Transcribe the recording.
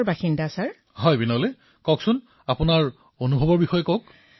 প্ৰধানমন্ত্ৰীঃ হয় বিনোলে আপোনাৰ অভিজ্ঞতাৰ বিষয়ে কওক